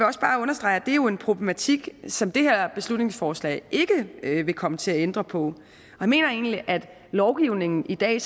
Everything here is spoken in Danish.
også bare understrege at det jo er en problematik som det her beslutningsforslag ikke vil komme til at ændre på og jeg mener egentlig at lovgivningen i dag